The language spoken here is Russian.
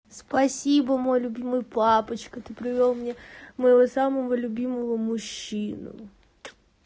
спасибо мой любимый папочка ты привёл мне моего самого любимого мужчину